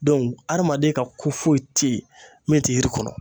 adamaden ka ko foyi te yen ,min te yiri kɔnɔ.